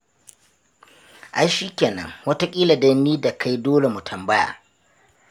Ai shi kenan, wataƙila dai ni da kai dole mu tambaya.